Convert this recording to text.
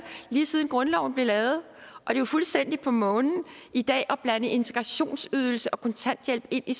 lige siden grundloven blev lavet det er jo fuldstændig på månen i dag at blande integrationsydelse og kontanthjælp ind i